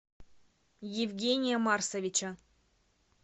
евгения марсовича